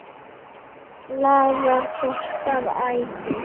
Hvað laðar þorsk að æti?